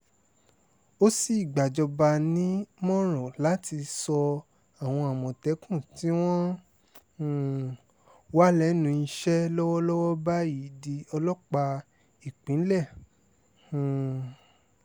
ó sì gbàjọba nímọ̀ràn láti sọ àwọn àmọ̀tẹ́kùn tí wọ́n um wà lẹ́nu iṣẹ́ lọ́wọ́lọ́wọ́ báyìí di ọlọ́pàá ìpínlẹ̀ um